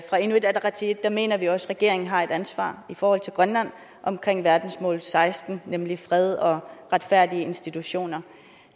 inuit ataqatigiit mener vi også at regeringen har et ansvar i forhold til grønland omkring verdensmål seksten nemlig fred og retfærdige institutioner